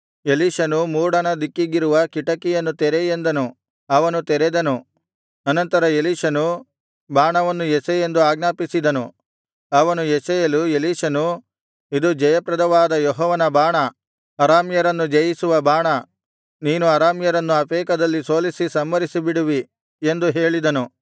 ಎಲೀಷನು ಮೂಡಣ ದಿಕ್ಕಿಗಿರುವ ಕಿಟಕಿಯನ್ನು ತೆರೆ ಎಂದನು ಅವನು ತೆರೆದನು ಅನಂತರ ಎಲೀಷನು ಬಾಣವನ್ನು ಎಸೆ ಎಂದು ಆಜ್ಞಾಪಿಸಿದನು ಅವನು ಎಸೆಯಲು ಎಲೀಷನು ಇದು ಜಯಪ್ರದವಾದ ಯೆಹೋವನ ಬಾಣ ಅರಾಮ್ಯರನ್ನು ಜಯಿಸುವ ಬಾಣ ನೀನು ಅರಾಮ್ಯರನ್ನು ಅಫೇಕದಲ್ಲಿ ಸೋಲಿಸಿ ಸಂಹರಿಸಿಬಿಡುವಿ ಎಂದು ಹೇಳಿದನು